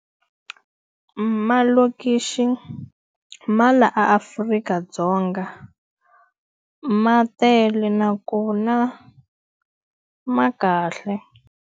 Malokixi ma laha Afrika-Dzonga ma tele nakona ma kahle.